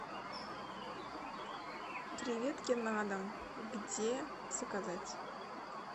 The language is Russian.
креветки на дом где заказать